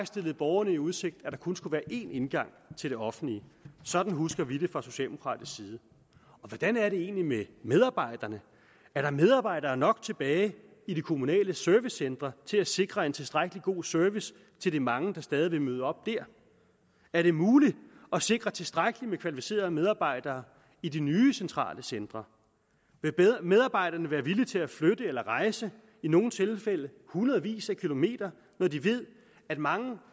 stillede borgerne i udsigt at der kun skulle være én indgang til det offentlige sådan husker vi det fra socialdemokratisk side hvordan er det egentlig med medarbejderne er der medarbejdere nok tilbage i de kommunale servicecentre til at sikre en tilstrækkelig god service til de mange der stadig vil møde op dér er det muligt at sikre tilstrækkeligt med kvalificerede medarbejdere i de nye centrale centre vil medarbejderne være villige til at flytte eller rejse i nogle tilfælde hundredvis af kilometer når de ved at mange